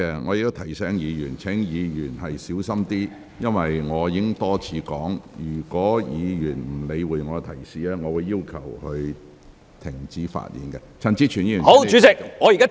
我再次提醒議員要小心發言，因為我已多次表示，如果議員不理會我的提示，我會要求相關議員停止發言。